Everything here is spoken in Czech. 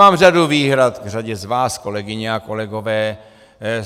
Mám řadu výhrad k řadě z vás, kolegyně a kolegové.